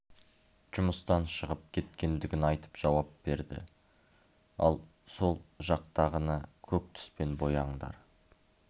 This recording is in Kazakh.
жұмыстан шығып кеткендігін айтып жауап берді ал сол жақтағыны көк түспен бояңдар